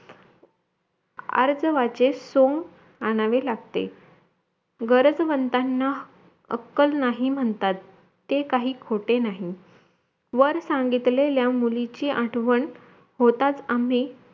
आर्जाव्याचे सोंग आणावे लागते गरजवंतांना अक्कल नाही म्हणतात ते काही खोटे नाही वर सांगितलेल्या मुलीची आठवण होताच आम्ही